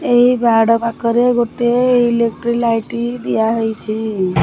ଏଇ ବାଡ଼ ପାଖରେ ଗୋଟେ ଇଲେକ୍ଟ୍ରି ଲାଇଟି ଦିଆହେଇଛି।